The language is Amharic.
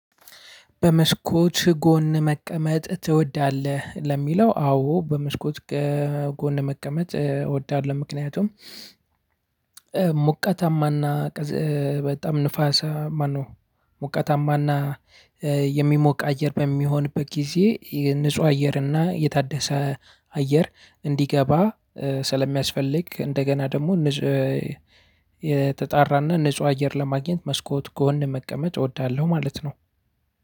በመስኮት ጎን መቀመጥ ትወዳለህ? ለሚለው አዎ በመስኮት ጎን መቀመጥ እወዳለሁ። ምክንያቱም ሞቃታማና በጣም ንፋስ ማነው ሞቀታማና የሚሞቅ አየር በሚሆንበት ጊዜ ንጹህ አየርና እና የታደሰ አየር እንዲገባ ስለሚያስፈልግ። እንደገና ደግሞ የተጣራና ንጹህ አየር ለማግኘት መስኮት ጎን መቀመጥ እወዳለሁ ማለት ነው።